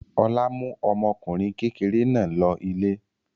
Ọlá mú ọmọkùnrin kékeré náà lọ ilé.